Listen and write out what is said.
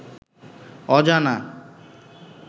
অজানা